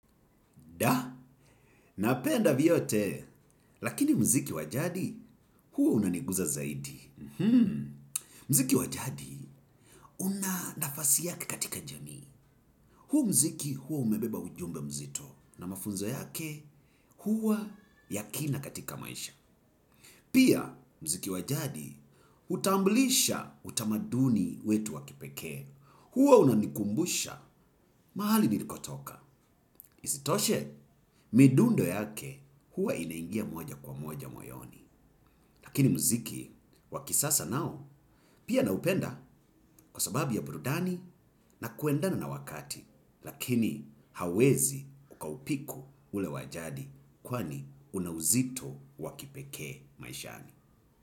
Da, napenda vyote, lakini muziki wa jadi, huo unaniguza zaidi. Muziki wa jadi unanafasi yake katika jamii huu muziki huwa umebeba ujumbe mzito na mafunzo yake huwa ya kina katika maisha. Pia, muziki wa jadi, utamblisha utamaduni wetu wa kipekee. Huo unanikumbusha, mahali nilikotoka. Isitoshe midundo yake huwa inaingia moja kwa moja moyoni lakini muziki wa kisasa nao pia naupenda kwa sababu ya burudani na kuendana na wakati. Lakini hawezi ukaupiku ule wa jadi kwani unauzito wa kipekee maishani.